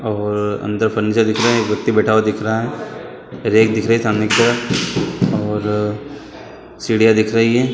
और अंदर फर्नीचर दिख रहा है एक व्यक्ति बैठा हुआ दिख रहा है रैक दिख रही है सामने की तरफ और सीढिया दिख रही है।